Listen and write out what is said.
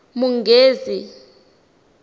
munghezi